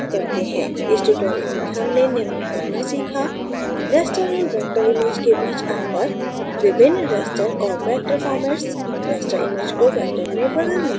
इस tutorial में हमने निम्न करना सीखा: raster और vector image के बीच अंतर विभिन्न raster और vector फॉर्मेट्स raster image को vector में बदलना